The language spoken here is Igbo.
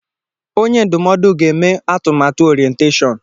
Onye ndụmọdụ ga-eme atụmatụ orientashọn.